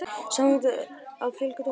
Samþykkt að fjölga dómurum